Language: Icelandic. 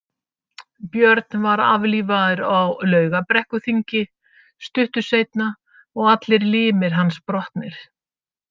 Björn var aflífaður á Laugarbrekkuþingi stuttu seinna og allir limir hans brotnir.